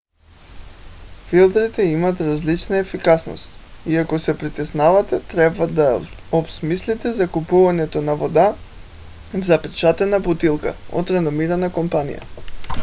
филтрите имат различна ефикасност и ако се притеснявате трябва да обмислите закупуването на вода в запечатана бутилка от реномирана компания